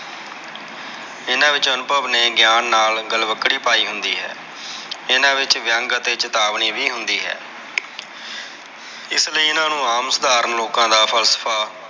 ਇਹਨਾਂ ਵਿਚ ਅਨੁਭਵ ਨੇ ਗਿਆਨ ਨਾਲ ਗਲਵਕੜੀ ਪਾਈ ਹੁੰਦੀ ਹੈ। ਇਹਨਾਂ ਵਿਚ ਵਿਅੰਗ ਅਤੇ ਚੇਤਾਵਨੀ ਵੀ ਹੁੰਦੀ ਹੈ ਇਸ ਲਯੀ ਇਹਨਾਂ ਨੂੰ ਆਮ ਸਾਧਾਰਨ ਲੋਕਾਂ ਦਾ ਫਲਸਫ਼ਾ।